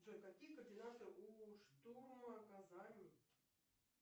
джой какие координаты у штурма казани